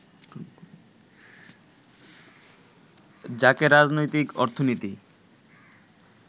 যাকে রাজনৈতিক অর্থনীতি